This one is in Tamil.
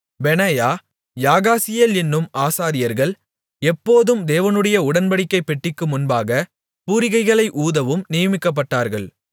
பெனாயா யாகாசியேல் என்னும் ஆசாரியர்கள் எப்போதும் தேவனுடைய உடன்படிக்கைப் பெட்டிக்கு முன்பாகப் பூரிகைகளை ஊதவும் நியமிக்கப்பட்டார்கள்